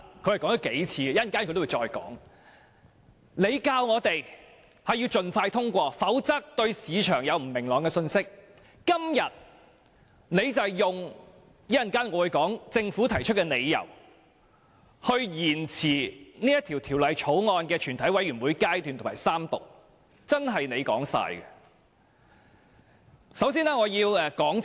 政府當天要求我們盡快通過《條例草案》，否則會為市場帶來不明朗的信息；今天卻提出另一些理由，支持延遲《條例草案》的全體委員會審議階段和三讀，真是"官字兩個口"。